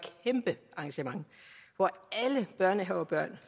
kæmpe arrangement hvor alle børnehavebørn og